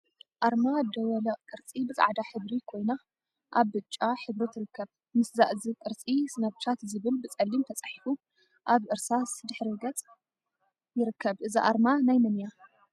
አርማ ደወለ ቅርፂ ብፃዕዳ ሕብሪ ኮይና አብ ብጫ ሕብሪ ትርከብ፡፡ ምስ እዛ ቅርፂ ስናፕቻት ዝብል ብፀሊም ተፃሒፉ አብ እርሳስ ሕብሪ ድሕረ ገፅ ይርከብ፡፡ እዛ አርማ ናይ መን እያ?